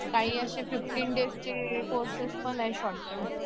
काही असे fifteen days चे कोर्सेस पण आहे शॉर्टटर्म